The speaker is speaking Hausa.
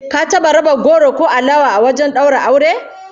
Ka taba raba goro ko alawa a wajen daura aure?